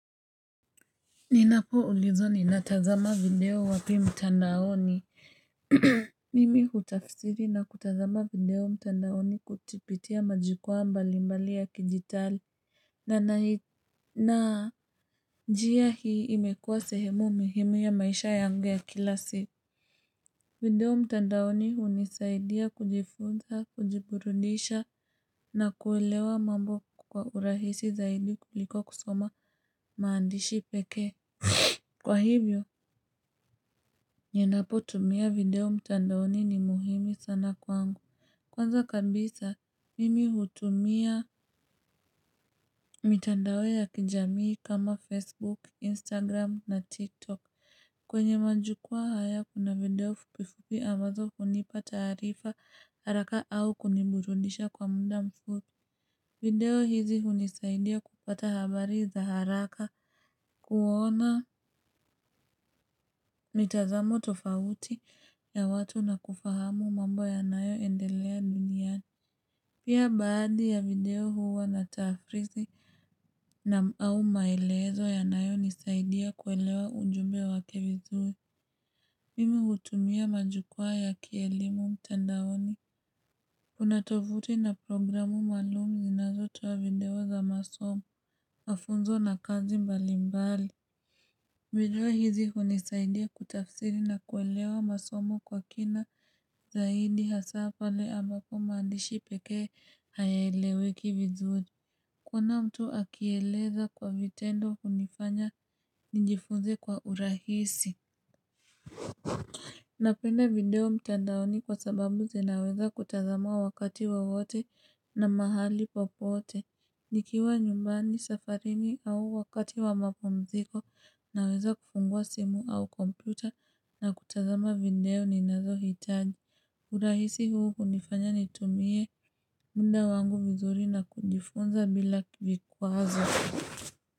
Ninapo ulizwa ninatazama video wapi mtandaoni. Mimi utafsiri na kutazama video mtandaoni kupitia majukwaa mbalimbali ya kidijitali. Na njia hii imekuwa sehemu muhimu ya maisha yangu ya kila siku. Video mtandaoni hunisaidia kujifunza, kujiburudisha na kuelewa mambo kwa urahisi zaidi kuliko kusoma maandishi pekee. Kwa hivyo, ninapotumia video mtandaoni ni muhimu sana kwangu Kwanza kabisa, mimi hutumia mitandao ya kijamii kama Facebook, Instagram na TikTok kwenye majukwaa haya kuna video fupifupi ambazo hunipa taarifa haraka au kuniburudisha kwa muda mfupi video hizi hunisaidia kupata habari za haraka kuona mitazamo tofauti ya watu na kufahamu mambo yanayoendelea duniani Pia baadhi ya video huwa na taafrizi au maelezo yanayonisaidia kuelewa ujumbe wake vizui Mimi hutumia majukwaa ya kielimu mtandaoni Una tofuti na programu maalum zinazotoa video za masomo mafunzo na kazi mbalimbali video hizi hunisaidia kutafsiri na kuelewa masomo kwa kina zaidi hasa pale amapo maandishi pekee hayaeleweki vizuri kuona mtu akieleza kwa vitendo hunifanya nijifunze kwa urahisi Napenda video mtandaoni kwa sababu zinaweza kutazamwa wakati wowote na mahali popote. Nikiwa nyumbani, safarini au wakati wa mapumziko naweza kufungua simu au kompyuta na kutazama video ni nazohitaji. Urahisi huu hunifanya nitumie muda wangu vizuri na kujifunza bila vikwazo.